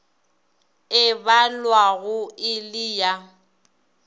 e balwago e le ya